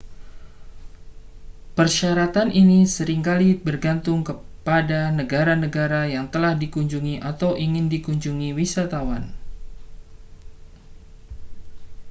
persyaratan ini sering kali bergantung pada negara-negara yang telah dikunjungi atau ingin dikunjungi wisatawan